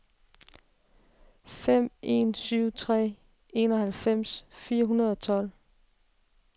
fem en syv tre enoghalvfems fire hundrede og tolv